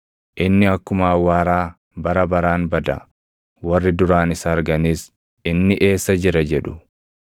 inni akkuma awwaaraa bara baraan bada; warri duraan isa arganis, ‘Inni eessa jira?’ jedhu.